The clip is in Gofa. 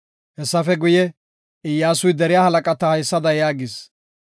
Hessafe guye, Iyyasuy deriya halaqata haysada yaagis;